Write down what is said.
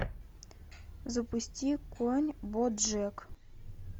запусти конь боджек